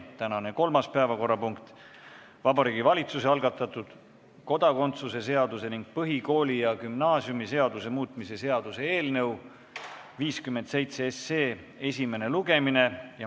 Tänane kolmas päevakorrapunkt on Vabariigi Valitsuse algatatud kodakondsuse seaduse ning põhikooli- ja gümnaasiumiseaduse muutmise seaduse eelnõu 57 esimene lugemine.